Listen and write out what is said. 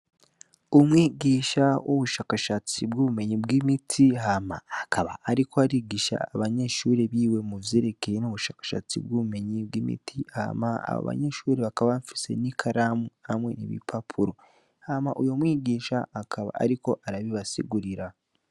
Umwigisha w'ubushakashatsi bw'imiti hama akaba ariko arigisha abanyeshure biwe muvyerekeye ubushakashatsi bw'imiti bakaba bafise ikaramu hamwe n'urupapuro hama uwo mwigisha akaba ariko arabibasigurira.